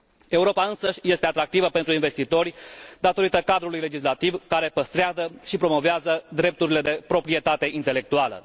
Europa însăși este atractivă pentru investitori datorită cadrului legislativ care păstrează și promovează drepturile de proprietate intelectuală.